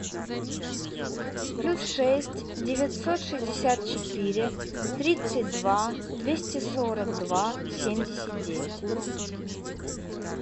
плюс шесть девятьсот шестьдесят четыре тридцать два двести сорок два семьдесят девять